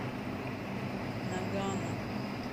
нагано